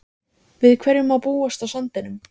Kristján Már Unnarsson: Við hverju má búast á sandinum?